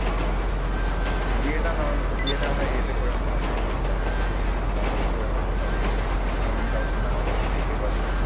হ্যাঁ, বিয়েটা নভে বিয়েটা আমরা ইয়েতে করে নেব মানে আহ normally করে নেব, কাউকে তেমন কাউকে না ডেকে party তে।